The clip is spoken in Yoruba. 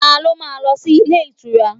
Ta ló ma lọ sí ilé ìtura?